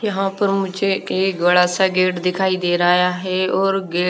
यहाँ पर मुझे एक बड़ा सा गेट दिखाई दे रहा है और गेट --